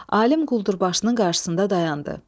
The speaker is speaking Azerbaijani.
Alim quldurbaşının qarşısında dayandı.